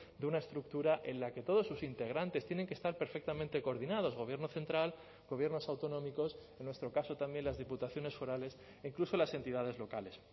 de una estructura en la que todos sus integrantes tienen que estar perfectamente coordinados gobierno central gobiernos autonómicos en nuestro caso también las diputaciones forales incluso las entidades locales